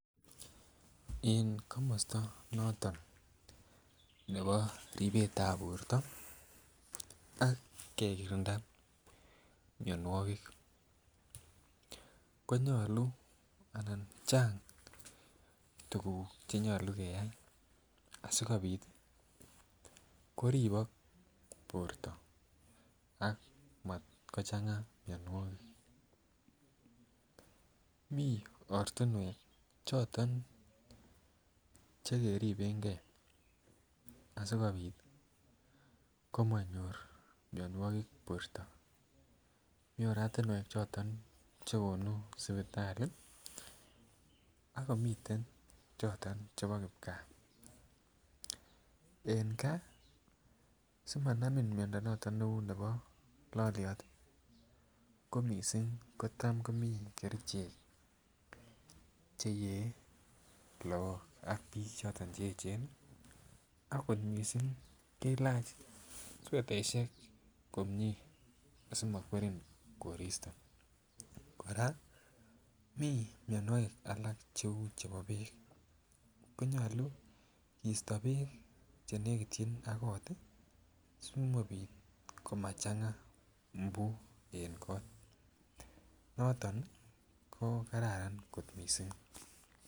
En komosto noton nebo ribetab borto ak kekirinda mionwokik konyoluu ana Chang tuguk che nyoluu keyay asikopit koribok borto ak matkochanga mionwokik. Mii ortinwek choton che keribengee asikopit komonyor mionwokik borto. Mii oratinwek choton che gonuu sipitali ak komiten choton chebo kipkaa, en gaa simanamin miondo noton neuu nebo lolyot ii ko missing kotam komii kerichek cheyee look ak bik choton che echen akot missing kilach swetaishek komie asimokwerin koristo. Koraa mii mionwokik alak cheuu chebo beek. Konyoluu kisto beek che nekityin ak koot ii simapit komachanga mbu en kot. Noton ii ko kararan kot missing